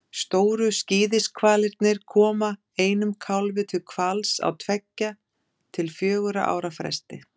Stóru skíðishvalirnir koma einum kálfi til hvals á tveggja til fjögurra ára fresti.